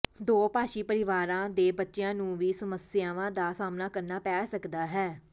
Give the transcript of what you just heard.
ਦੋਭਾਸ਼ੀ ਪਰਿਵਾਰਾਂ ਦੇ ਬੱਚਿਆਂ ਨੂੰ ਵੀ ਸਮੱਸਿਆਵਾਂ ਦਾ ਸਾਹਮਣਾ ਕਰਨਾ ਪੈ ਸਕਦਾ ਹੈ